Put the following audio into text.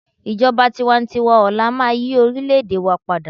ijoba tiwantiwa ọlá ma yí orilẹ ede wa pada